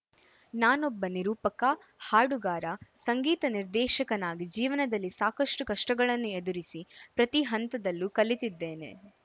ನಾನೊಬ್ಬ ನಿರೂಪಕ ಹಾಡುಗಾರ ಸಂಗೀತ ನಿರ್ದೇಶಕನಾಗಿ ಜೀವನದಲ್ಲಿ ಸಾಕಷ್ಟುಕಷ್ಟಗಳನ್ನು ಎದುರಿಸಿ ಪ್ರತಿ ಹಂತದಲ್ಲೂ ಕಲಿತಿದ್ದೇನೆ